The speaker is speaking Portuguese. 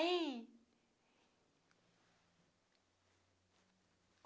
Ei!